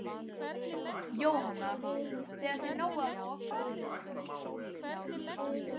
Jóhanna: Þegar þið náið að loka?